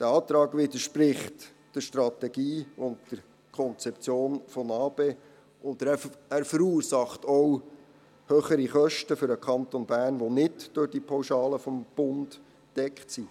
Dieser Antrag widerspricht der Strategie und der Konzeption der Neustrukturierung des Asyl- und Flüchtlingsbereichs im Kanton Bern (NA-BE) und verursacht auch höhere Kosten für den Kanton Bern, die nicht durch die Pauschale des Bundes gedeckt werden.